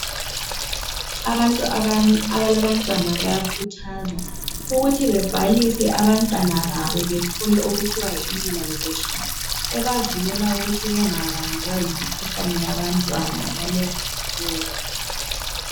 Abantu abalabantwana bayakhuthazwa ukuthi bebhalise abantwana babo bethole okuthiwa yi"immunisation" ebavikela ukuthi bengabanjwa yimikhuhlane yabantwana ngalezi insuku